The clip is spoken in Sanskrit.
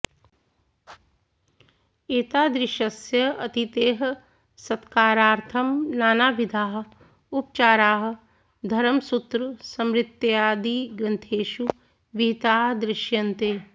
एतादृशस्य अतिथेः सत्कारार्थं नानाविधाः उपचाराः धर्मसूत्रस्मृत्यादिग्रन्थेषु विहिताः दृश्यन्ते